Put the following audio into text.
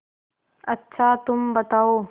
अच्छा तुम बताओ